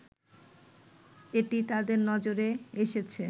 এটি তাদের নজরে এসেছে